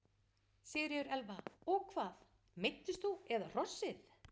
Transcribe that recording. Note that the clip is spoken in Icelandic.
Sigríður Elva: Og hvað, meiddist þú eða hrossið?